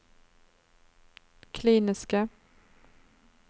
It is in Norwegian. kliniske